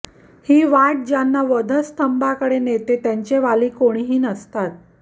ही वाट ज्यांना वधस्तंभाकडे नेते त्यांचे वाली कोणीही नसते